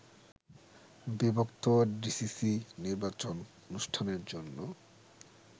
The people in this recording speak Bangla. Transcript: বিভক্ত ডিসিসি নির্বাচন অনুষ্ঠানের জন্য